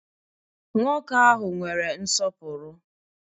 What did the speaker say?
Nwoke ahụ nwere nsọpụrụ.